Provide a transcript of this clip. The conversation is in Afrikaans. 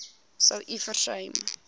sou u versuim